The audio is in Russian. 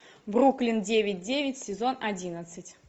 бруклин девять девять сезон одиннадцать